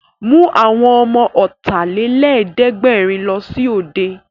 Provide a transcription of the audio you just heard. Mú àwọn ọmọ Ọ̀tàlélẹ̀ẹ́dẹ́gbẹ̀rin lọ sí òde!